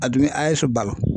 A dun be AES balo